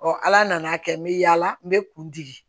ala nana kɛ n bɛ yaala n bɛ kuntigi